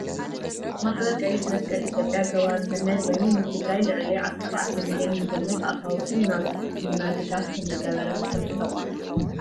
ማሕበር ቀይሕ መስቀል ኢትዮጵያ ገባሪ ሰናይ ኮይኑ፣ ንትግራይ ልዕሊ 17 ሚሊዮን ዝግመት ኣፋውስን ናውቲ ሕክምና ድጋፍ ከምዝገበረ ትፈልጡ ዶ ?